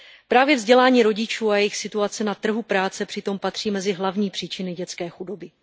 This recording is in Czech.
Právě vzdělání rodičů a jejich situace na trhu práce přitom patří mezi hlavní příčiny dětské chudoby.